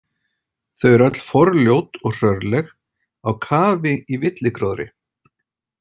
Þau eru öll forljót og hrörleg, á kafi í villigróðri.